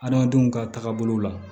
Adamadenw ka taagabolo la